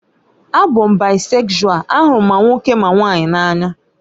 A bụ m baịsekshual, ahụrụ m ma nwoke ma nwanyị n'anya